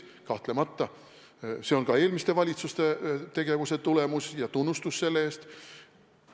Kahtlemata, see on ka eelmiste valitsuste tegevuse tulemus ja tunnustus selle eest!